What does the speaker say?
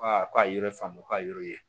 k'a ye yɔrɔ faamu k'a ye yɔrɔ ye